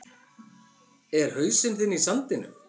Er hausinn þinn í sandinum?